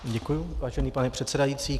Děkuji, vážený pane předsedající.